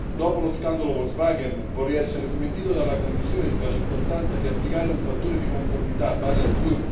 Dopo lo scandalo vorrei essere smentito dalla Commissione sulla circostanza che applicare un fattore di conformità pari a